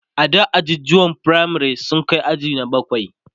ada ajujuwan firamare sun Kai aji na bakwai